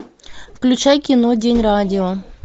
включай кино день радио